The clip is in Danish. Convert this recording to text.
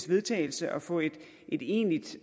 vedtagelse og få et egentligt